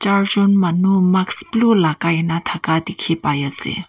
charjon manu mask blue lagai na thaka dikhi pai ase.